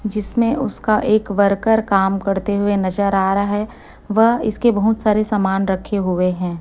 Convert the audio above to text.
जिसमें उसका एक वर्कर काम करते हुए नजर आ रहा है वह इसके बहोत सारे समान रखे हुए हैं।